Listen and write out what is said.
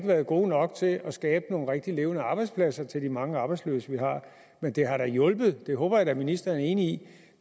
været gode nok til at skabe nogle rigtige levende arbejdspladser til de mange arbejdsløse vi har men det har da hjulpet på og det håber jeg at ministeren er enig